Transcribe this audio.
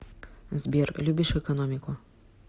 сбер любишь экономику